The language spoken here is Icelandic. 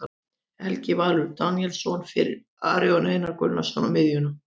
Helgi Valur Daníelsson fyrir Aron Einar Gunnarsson á miðjuna.